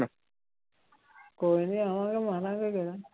ਕੋਈ ਨੀ ਆਵਾਂਗੇ ਮਾਰਾਂਗੇ ਗੇੜਾ।